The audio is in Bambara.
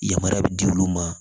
Yamaruya bɛ di olu ma